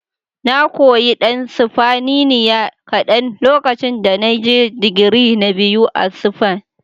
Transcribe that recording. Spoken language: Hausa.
Na koyi ɗan Sifaniniya kaɗan lokacin da na je digiri na biyu a Spain.